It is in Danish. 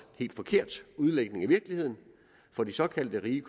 helt forkert udlægning af virkeligheden for de såkaldt rige